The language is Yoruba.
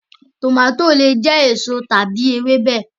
Tọmatì le jẹ èso tàbí ẹfọ.